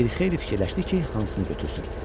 Bir xeyli fikirləşdi ki, hansını götürsün?